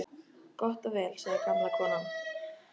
Gott og vel sagði gamla konan.